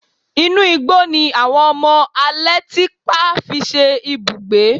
Inú igbó ni àwọn ọmọ alétípá fi ṣe ibùba